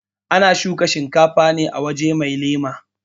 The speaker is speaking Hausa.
ana shuka shinkafa ne a waje mai lema